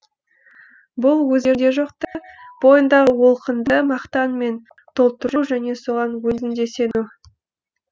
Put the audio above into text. бұл өзінде жоқты бойыңдағы олқыңды мақтанмен толтыру және соған өзің де сену